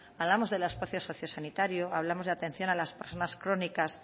hablemos del espacio socio sanitario hablamos de atención a las personas crónicas